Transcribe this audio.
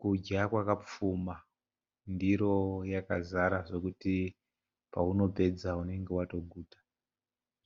Kudya kwakapfuma ndiro yakazara zvekuti paunopedza unenge watoguta